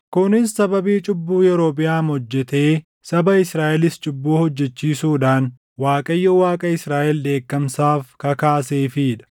Kunis sababii cubbuu Yerobiʼaam hojjetee saba Israaʼelis cubbuu hojjechiisuudhaan Waaqayyo Waaqa Israaʼel dheekkamsaaf kakaaseefii dha.